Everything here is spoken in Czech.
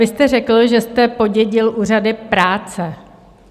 Vy jste řekl, že jste podědil úřady práce.